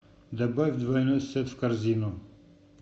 добавь двойной сет в корзину